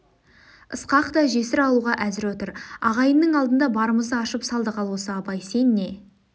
ысқақ та жесір алуға әзір отыр ағайынның алдында барымызды ашып салдық ал осы абай сен не